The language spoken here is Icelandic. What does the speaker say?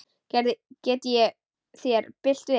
Gerði ég þér bylt við?